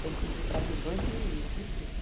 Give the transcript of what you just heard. Sempre pedi para ter dois meninos e tive.